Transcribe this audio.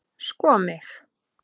sko mig!